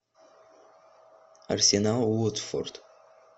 арсенал уотфорд